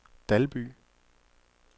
Dalby